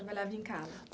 Trabalhava em casa?